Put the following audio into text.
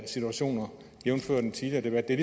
situationer jævnfør den tidligere debat det er